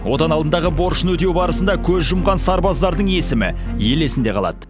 отан алдындағы борышын өтеу барысында көз жұмған сарбаздардың есімі ел есінде қалады